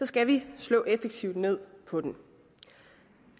skal vi slå effektivt ned på den